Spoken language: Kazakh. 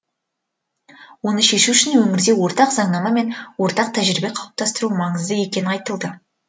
оны шешу үшін өңірде ортақ заңнама мен ортақ тәжірибе қалыптастыру маңызды екені айтылды